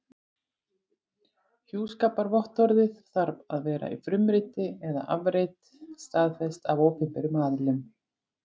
Hjúskaparvottorðið þarf að vera í frumriti eða afrit staðfest af opinberum aðila.